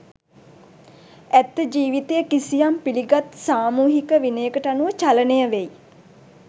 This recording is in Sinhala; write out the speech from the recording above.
ඇත්ත ජීවිතය කිසියම් පිළිගත් සාමූහික විනයකට අනුව චලනය වෙයි.